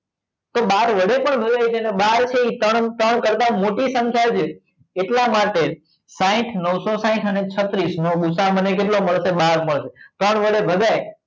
બાર વડે પણ બાર છે એ ત્રણ ત્રણ કરતા મોટી સંખ્યા છે એટલા માટે સાઇટ નવસો સાઇટ અને છત્રીસ નો ભૂસા મને કેટલો મળશે બાર બહાર મળશે ત્રણ વડે ભગાય